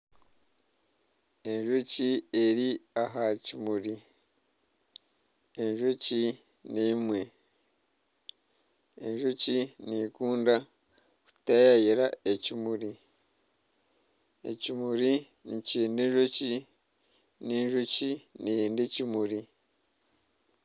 Enjoki eri aha kimuri. Enjoki n'emwe. Enjoki nikunda kutayaayira ekimuri. Ekimuri nikyenda enjoki n'enjoki neyenda ekimuri.